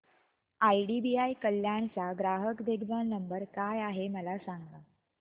IDBI Kalyan चा ग्राहक देखभाल नंबर काय आहे मला सांगा